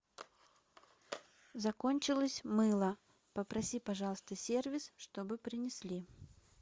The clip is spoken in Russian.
закончилось мыло попроси пожалуйста сервис чтобы принесли